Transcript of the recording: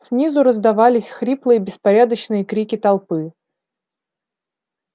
снизу раздавались хриплые беспорядочные крики толпы